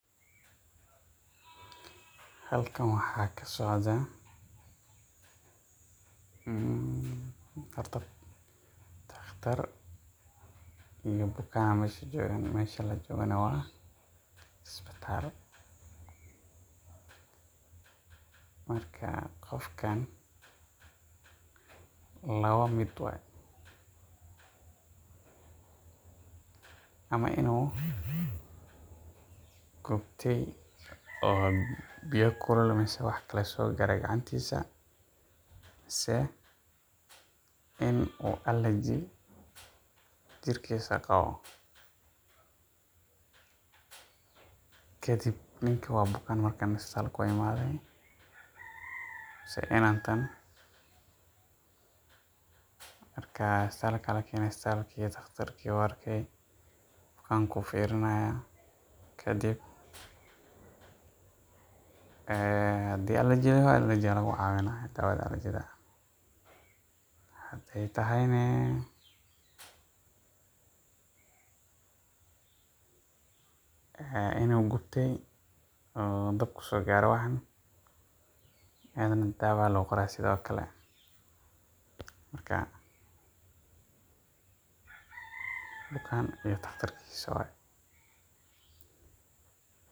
Halkaan waxaa ka socdaa: horta, doctor iyo bukaan ayaa meesha jooga. Meesha la joogo-na waa isbitaal. Marka, qofkaan laba mid wuu noqon karaa — waa inuu gubtay oo biyo kulul ama wax kale soo gaareen gacantiisa, mise in allergy jirkiisa uu qabo. Kadib, ninkii oo fekeraya wuu imid isbitaalka, isbitaalka ayaa la keenay, doctor-kiina wuu arkay, bukaanka ayuu fiirinayaa. Haddii uu allergy hayo, allergy-ga ayaa laga caawinayaa daawada allergy-ga. Haddii ay tahay inuu gubtay oo dhaawac soo gaaray, isaga-na dawo ayaa loo qoraa. Sidaas darteed, waa bukaan iyo doctor-kiisa.